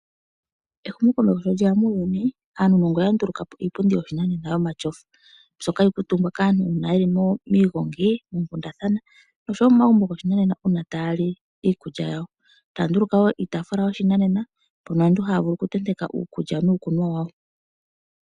Ehumokomeho sho lye ya muuyuni aanuunongo oya nduluka po iipundi yoshinanena yomatyofa, mbyoka hayi kuutumbwa kaantu uuna ye li miigongi moonkundathana, no sho wo momagumbo goshinanena uuna ta ya li iikulya yawo. Taya nduluka woo iitaafula yoshinanena mpono aantu ha ya vulu okutenteka uukulya nuukunwa wawo.